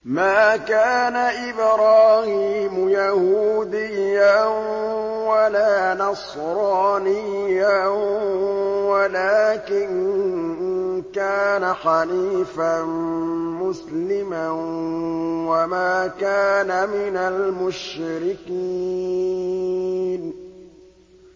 مَا كَانَ إِبْرَاهِيمُ يَهُودِيًّا وَلَا نَصْرَانِيًّا وَلَٰكِن كَانَ حَنِيفًا مُّسْلِمًا وَمَا كَانَ مِنَ الْمُشْرِكِينَ